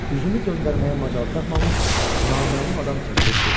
Üzümü döndərməyə macal tapmamış, naməlum adam çəkilib getdi.